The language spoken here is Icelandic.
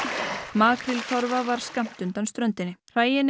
makríltorfa var skammt undan ströndinni hræin